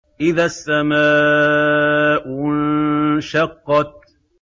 إِذَا السَّمَاءُ انشَقَّتْ